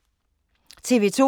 TV 2